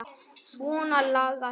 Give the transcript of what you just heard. Svona lagað hvað?